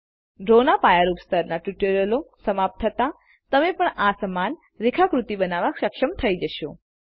ડ્રોના પાયારૂપ સ્તરના ટ્યુટોરીઅલો સમાપ્ત થતા તમે પણ આ સમાન રેખાકૃતિ બનાવવા સક્ષમ થઇ જશો